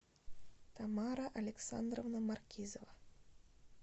тамара александровна маркизова